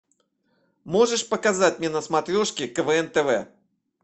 можешь показать мне на смотрешке квн тв